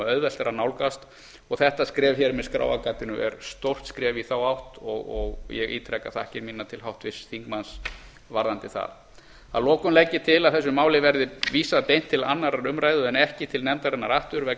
auðvelt er að nálgast og þetta skref hér með skráargatinu er stórt skref í þá átt og ég ítreka þakkir mínar til háttvirts þingmanns varðandi það að lokum legg ég til að þessu máli verði vísað beint til annarrar umræðu en ekki til nefndarinnar aftur vegna þess að